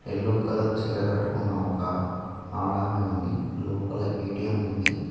Yellow colour చీర కట్టుకున్న ఒక ఆడమే ఉంది లోపల ఏటీఎం ఉంది.